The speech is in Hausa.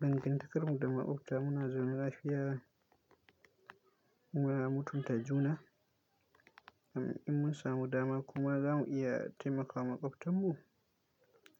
Dangantakar mu da maƙwabta muna zama lafiya. Muna mutunta juna, in mun samu dama kuma za mu iya taimakawa maƙwabtan mu.